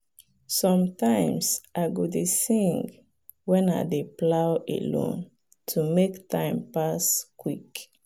sometimes i go dey sing when i dey plow alone to make time pass quick.